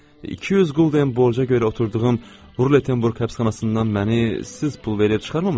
200 quldən borca görə oturduğum Rulettenburq həbsxanasından məni siz pul verib çıxarmamısınız ki?